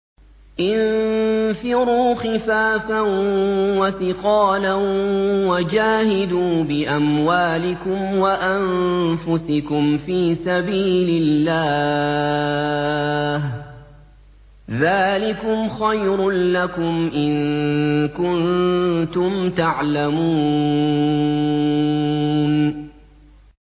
انفِرُوا خِفَافًا وَثِقَالًا وَجَاهِدُوا بِأَمْوَالِكُمْ وَأَنفُسِكُمْ فِي سَبِيلِ اللَّهِ ۚ ذَٰلِكُمْ خَيْرٌ لَّكُمْ إِن كُنتُمْ تَعْلَمُونَ